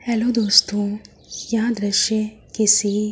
hello दोस्तों यह दृश्य किसी --